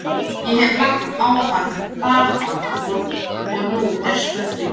Ég hef lagt á hann farbann, og nú er spurningin.